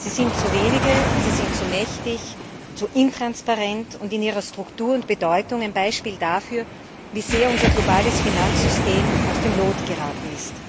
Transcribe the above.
Sie sind zu wenige, sie sind zu mächtig, zu wenig transparent und in ihrer Struktur und Bedeutung ein Beispiel dafür, wie sehr unser globales Finanzsystem aus dem Lot geraten ist.